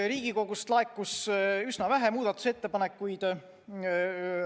Riigikogust laekus üsna vähe muudatusettepanekuid.